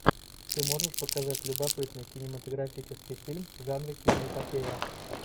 ты можешь показать любопытный кинематографический фильм в жанре киноэпопея